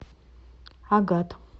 агат